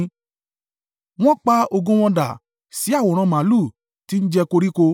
Wọ́n pa ògo wọn dà sí àwòrán màlúù, tí ń jẹ koríko.